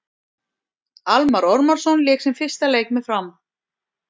Almarr Ormarsson lék sinn fyrsta leik með Fram.